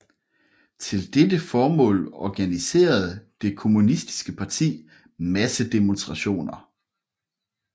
Til dette formål organiserede det kommunistiske parti massedemonstrationer